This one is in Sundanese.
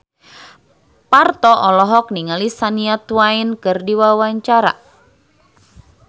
Parto olohok ningali Shania Twain keur diwawancara